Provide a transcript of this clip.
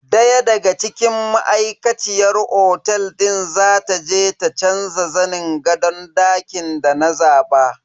Daya daga cikin ma'aikaciyar otel din za ta je ta canza zanin gadon dakin da na zaba.